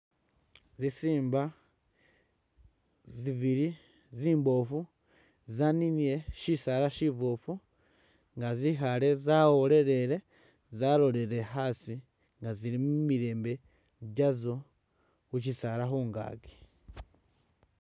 Zisiimba zibili zimboofu zaninile shisaala shiboofu nga zikhaale zawolelele zalolelele asi nga zili mumilembe jazo khusisaala khungakyi.